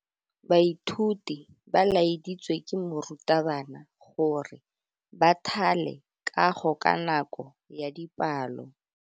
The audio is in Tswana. Baithuti ba laeditswe ke morutabana gore ba thale kagô ka nako ya dipalô.